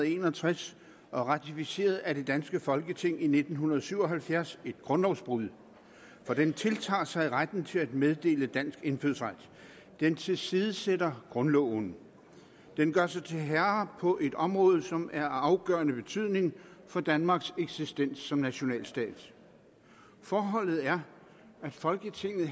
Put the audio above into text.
en og tres og ratificeret af det danske folketing i nitten syv og halvfjerds et grundlovsbrud for den tiltager sig retten til at meddele dansk indfødsret den tilsidesætter grundloven den gør sig til herre på et område som er af afgørende betydning for danmarks eksistens som nationalstat forholdet er at folketinget